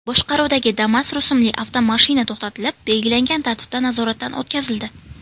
boshqaruvidagi Damas rusumli avtomashina to‘xtatilib, belgilangan tartibda nazoratdan o‘tkazildi.